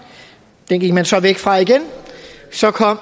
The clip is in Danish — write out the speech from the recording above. den gik man så væk fra igen så kom